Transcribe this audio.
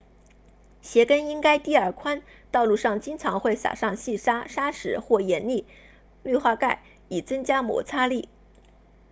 鞋跟应该低而宽道路上经常会撒上细沙砂石或盐粒氯化钙以增加摩擦力